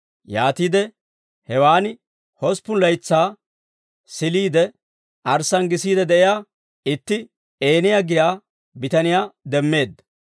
Yaatiide hewaan hosppun laytsaa siliide, arssaan gisiide de'iyaa itti Eeniyaa giyaa bitaniyaa demmeedda.